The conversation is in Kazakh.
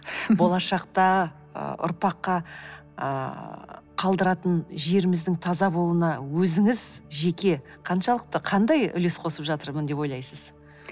болашақта ы ұрпаққа ыыы қалдыратын жеріміздің таза болуына өзіңіз жеке қаншалықты қандай үлес қосып жатырмын деп ойлайсыз